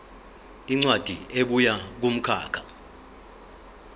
incwadi ebuya kumkhakha